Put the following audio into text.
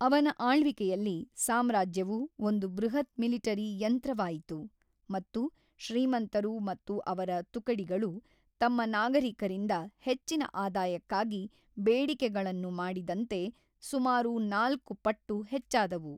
ಅವನ ಆಳ್ವಿಕೆಯಲ್ಲಿ, ಸಾಮ್ರಾಜ್ಯವು ಒಂದು ಬೃಹತ್ ಮಿಲಿಟರಿ ಯಂತ್ರವಾಯಿತು ಮತ್ತು ಶ್ರೀಮಂತರು ಮತ್ತು ಅವರ ತುಕಡಿಗಳು, ತಮ್ಮ ನಾಗರಿಕರಿಂದ ಹೆಚ್ಚಿನ ಆದಾಯಕ್ಕಾಗಿ ಬೇಡಿಕೆಗಳನ್ನು ಮಾಡಿದಂತೆ, ಸುಮಾರು ನಾಲ್ಕು ಪಟ್ಟು ಹೆಚ್ಚಾದವು.